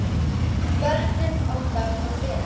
Börnin okkar voru vinir.